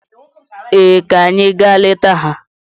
Ee, ka anyị gaa leta ha.